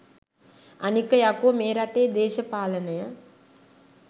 අනික යකෝ මේ රටේ දේශපාලනය